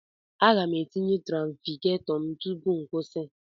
Aga m etinye trafigetọ m tupu m kwụsị.